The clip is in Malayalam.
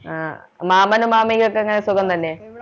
അഹ് മാമനും മാമിക്കും ഒക്കെ എങ്ങനെ സുഖം തന്നെ